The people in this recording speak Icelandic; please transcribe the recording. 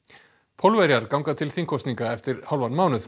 Pólverjar ganga til þingkosninga eftir hálfan mánuð